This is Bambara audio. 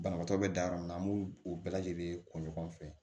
Banabaatɔ bɛ dan yɔrɔ min na an b'u u bɛɛ lajɛlen ko ɲɔgɔn fɛ